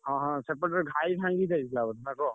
ହଁ ହଁ ସେପଟରେ ଘାଇ ଭାଙ୍ଗି ଯାଇଥିଲା ବୋଧେ ନା କଣ?